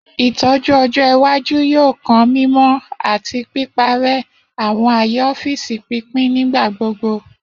Itọju ọjọ iwaju yoo kan mimọ ati piparẹ awọn aaye ọfiisi pinpin nigbagbogbo.